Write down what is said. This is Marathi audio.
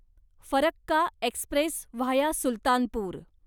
Farakka express via Sultanpur